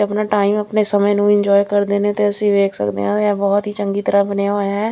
ਆਪਣਾ ਟਾਈਮ ਆਪਣੇ ਸਮੇਂ ਨੂੰ ਐਂਜੋਏ ਕਰਦੇ ਨੇ ਤੇ ਅਸੀਂ ਵੇਖ ਸਕਦੇ ਆ ਇਹ ਬਹੁਤ ਹੀ ਚੰਗੀ ਤਰ੍ਹਾਂ ਬਣਿਆ ਹੋਇਆ ਹੈ।